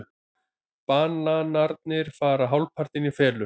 Bananarnir fara hálfpartinn í felur.